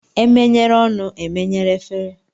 E menyere ọnụ, e menyere efere